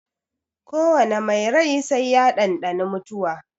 Ko wane mai rai sai ya ɗanɗani mutuwa.